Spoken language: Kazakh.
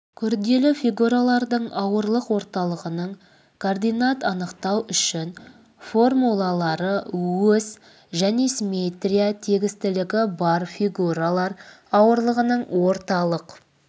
күрделі фигуралардың ауырлық орталығының координат анықтау үшін формулалары ось және симметрия тегістілігі бар фигуралар ауырлығының орталық